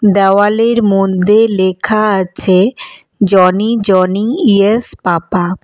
দেওয়ালের মধ্যে লেখা আছে জনি জনি ইয়েস পাপা ।